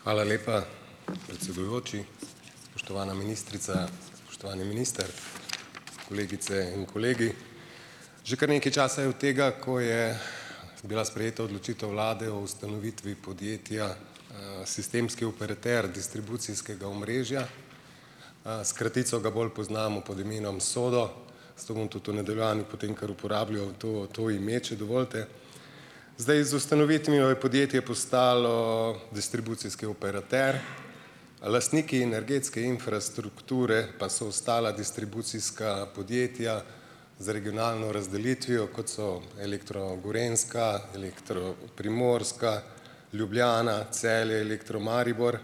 Hvala lepa, predsedujoči. Spoštovana ministrica, spoštovani minister, kolegice in kolegi. Že kar nekaj časa je od tega, ko je bila sprejeta odločitev vlade o ustanovitvi podjetja Sistemski operater distribucijskega omrežja, s kratico ga bolj poznamo pod imenom SODO, zato bom tudi v nadaljevanju potem kar uporabljal, to, to ime, če dovolite. Zdaj, z ustanovitvijo je podjetje postalo distribucijski operater, lastniki energetske infrastrukture pa so ostala distribucijska podjetja z regionalno razdelitvijo, kot so Elektro Gorenjska, Elektro Primorska, Ljubljana, Celje, Elektro Maribor,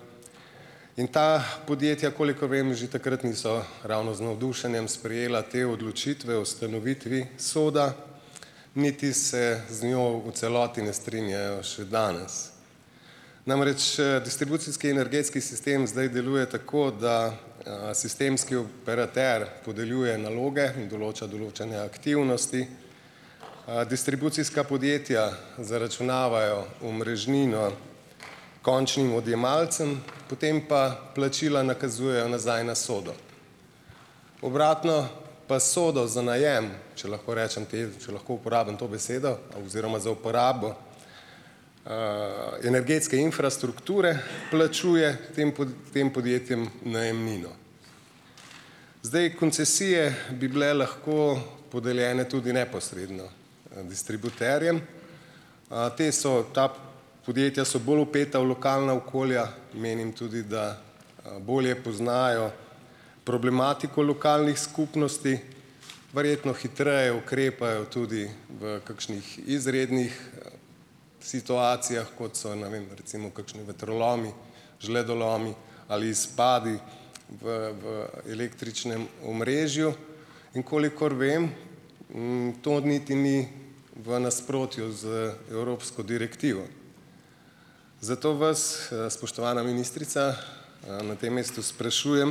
in ta podjetja, kolikor vem, že takrat niso ravno z navdušenjem sprejela te odločitve o ustanovitvi SODA, niti se z njo v celoti ne strinjajo še danes. Namreč distribucijski energetski sistem zdaj deluje tako, da sistemski operater podeljuje naloge in določa določene aktivnosti. Distribucijska podjetja zaračunavajo omrežnino končnim odjemalcem, potem pa plačila nakazujejo nazaj na SODO. Obratno pa SODO za najem, če lahko rečem te, če lahko uporabim to besedo, oziroma za uporabo energetske infrastrukture plačuje tem tem podjetjem najemnino. Zdaj, koncesije bi bile lahko podeljene tudi neposredno distributerjem. Te so, ta podjetja so bolj vpeta v lokalna okolja, menim tudi, da bolje poznajo problematiko lokalnih skupnosti, verjetno hitreje ukrepajo tudi v kakšnih izrednih situacijah, kot so, ne vem, recimo kakšni vetrolomi, žledolomi ali izpadi v v električnem omrežju, in kolikor vem, to niti ni v nasprotju z evropsko direktivo. Zato vas, spoštovana ministrica, na tem mestu sprašujem: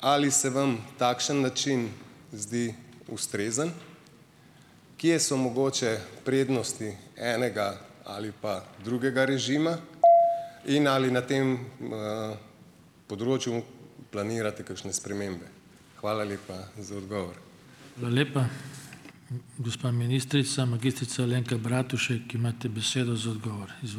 ali se vam takšen način zdi ustrezen? Kje so mogoče prednosti enega ali pa drugega režima? In ali na tem področju planirate kakšne spremembe? Hvala lepa za odgovor.